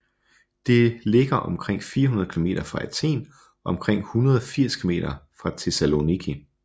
Det ligger omkring 400 kilometer fra Athen og omkring 180 km fra Thessaloniki